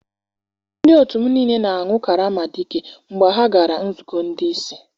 Ndị otu m niile na-aṅụ karama dike mgbe ha gara nzukọ ndị isi.